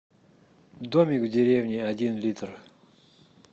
домик в деревне один литр